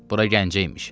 Bura Gəncə imiş.